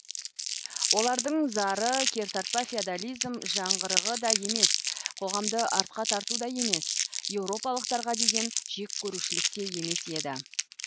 олардың зары кертартпа феодализм жаңғырығы да емес қоғамды артқа тарту да емес еуропалықтарға деген жеккөрушілік те емес еді